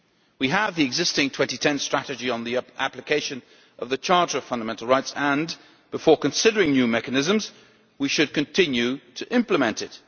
We have the existing 2010 Strategy on the application of the Charter of Fundamental Rights and, before considering new mechanisms, we should continue to implement it.